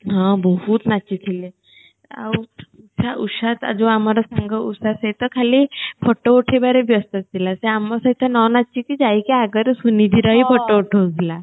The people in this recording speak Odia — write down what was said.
ହଁ ବହୁତ ନାଚିଥିଲେ ଆଉ ଉଷା ଯୋଉ ଆମର ସାଙ୍ଗ ଉଷା ସହିତ ଖାଲି photo ଉଠେଇବାରେ ବ୍ୟସ୍ତ ଥିଲା ସେ ଆମ ସହିତ ନ ନାଚିକି ଯାଇକି ଆଗରେ ସୁନିଧି ର ହିଁ photo ଉଠଉ ଥିଲା